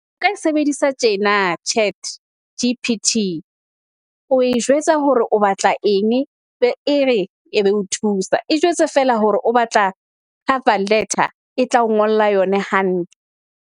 O ka e sebedisa tjena Chat G_P_T o e jwetsa hore o batla eng, be ere e be o thusa. E jwetse feela hore o batla cover letter e tla o ngolla yona hantle.